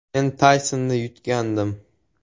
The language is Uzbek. Men Taysonni yutgandim.